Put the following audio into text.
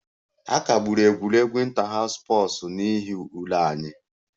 A kagburu egwuregwu inter house n'ihi ule anyị